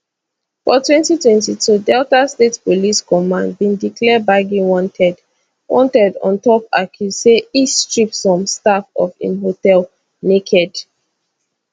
for 2022 delta state police command bin declare gbagi wanted wanted on top accuse say e strip some staff of im hotel naked